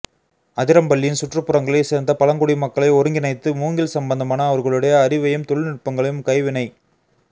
அதிரம்பள்ளியின் சுற்றுப்புறங்களை சேர்ந்த பழங்குடிமக்களை ஒருங்கிணைத்து மூங்கில் சம்பந்தமான அவர்களுடைய அறிவையும் தொழில்நுட்பங்களையும் கைவினை